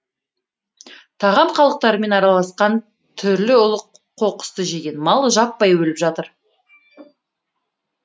тағам қалдықтарымен араласқан түрлі улы қоқысты жеген мал жаппай өліп жатыр